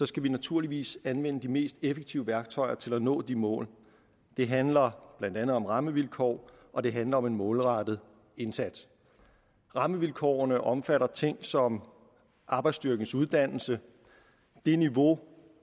skal vi naturligvis anvende de mest effektive værktøjer til at nå de mål det handler blandt andet om rammevilkår og det handler om målrettet indsats rammevilkårene omfatter ting som arbejdsstyrkens uddannelse niveauet